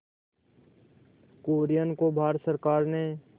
कुरियन को भारत सरकार ने